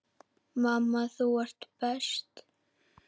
Mamma, þú ert best.